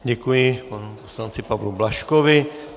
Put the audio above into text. Děkuji panu poslanci Pavlu Blažkovi.